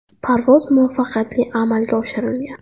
Parvoz muvaffaqiyatli amalga oshirilgan.